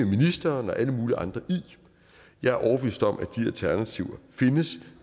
ministeren og alle mulige andre i jeg er overbevist om at de alternativer findes